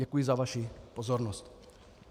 Děkuji za vaši pozornost.